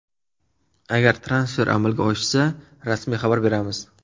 Agar transfer amalga oshsa, rasmiy xabar beramiz.